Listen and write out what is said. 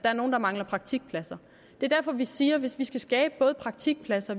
er nogle der mangler praktikpladser det er derfor vi siger at hvis vi skal skabe både praktikpladser